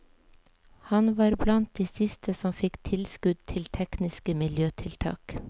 Han var blant de siste som fikk tilskudd til tekniske miljøtiltak.